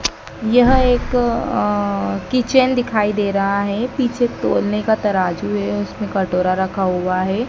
यह एक अह किचन दिखाई दे रहा है पीछे तोलने का तराजू है उसमें कटोरा रखा हुआ है।